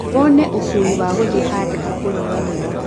wone ũkuũi wa gũthiĩ handũ ha kũnyuanĩra